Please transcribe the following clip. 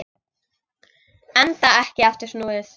Enda ekki aftur snúið.